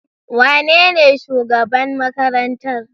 Wanene shugaban makarantar?